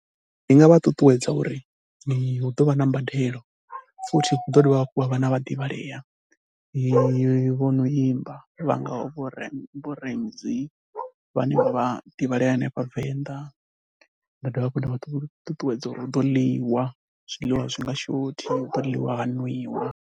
Ndi nga vha ṱuṱuwedza uri hu ḓo vha na mbadelo futhi hu ḓo dovha hafhu ha vha na vhaḓivhalea vho imba vha ngaho vho Ramzeey vhane vha vha divhalea hanefha Venḓa. Nda dovha hafhu nda vha ṱuṱuwedza uri u ḓo ḽiwa, zwiḽiwa a zwi nga shothi hu ḓo ḽiwa ha nwiwa.